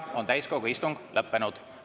Täiskogu istung on lõppenud.